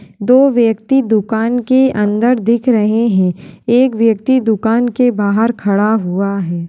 दो व्यक्ति दुकान के अंदर दिख रहे हैं एक व्यक्ति दुकान के बाहर खड़ा हुआ है।